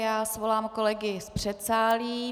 Já svolám kolegy z předsálí.